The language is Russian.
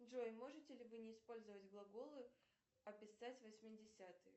джой можете ли вы не использовать глаголы описать восьмидесятые